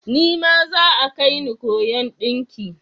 Nima za'a kaini koyon ɗinki.